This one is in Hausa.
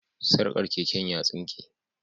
Sarkar keken ya tsinke